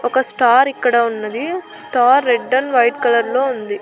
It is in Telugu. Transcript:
ఒక స్టార్ ఇక్కడ ఉన్నది star red and white colour లో ఉంది.